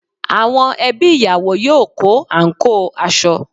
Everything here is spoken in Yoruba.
Àwọn ẹbí ìyàwó yóò kó àǹkóò aṣọ